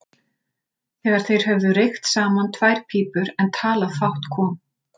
Þegar þeir höfðu reykt saman tvær pípur en talað fátt kom